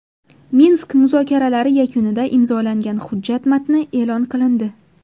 Minsk muzokaralari yakunida imzolangan hujjat matni e’lon qilindi.